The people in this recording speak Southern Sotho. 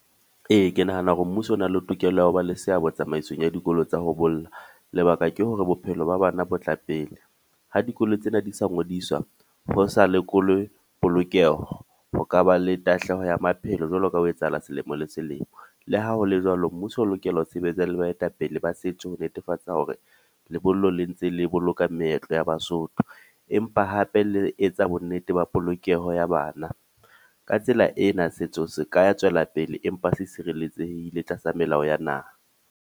Ee, ke nahana hore mmuso o na le tokelo ya ho ba le seabo tsamaisong ya dikolo tsa ho bolla lebaka ke hore bophelo ba bana bo tla pele. Ha dikolo tsena di sa ngodiswa ho sa lekolwe polokeho ho ka ba le tahleho ya maphelo jwalo ka ho etsahala selemo le selemo. Le ha hole jwalo, mmuso o lokela ho sebetsa le baetapele ba setso ho netefatsa hore lebollo le ntse le boloka meetlo ya Basotho empa hape le etsa bonnete ba polokeho ya bana, ka tsela ena setso se ka tswellapele empa se sirelletsehile tlasa melao ya naha.